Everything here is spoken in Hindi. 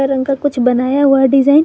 इनका कुछ बनाया हुआ डिजाइन --